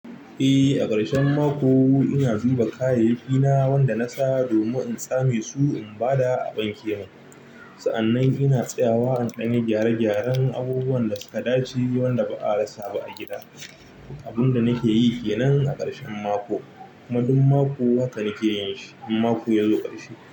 Eh, a ƙarshen mako ina zuba kayayyaki na wanda na sa domin in tsame su in ba da a wanke mun. Sa'annan ina tsayawa in ɗan yi gyare-gyaren abubuwan da suka dace wanda ba a rasa ba a gida. Abin da nake yi ke nan a ƙarshen mako, kuma duk mako haka nake yin shi in mako yazo ƙarshe.